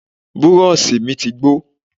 Burọ̀ṣì mi ti gbó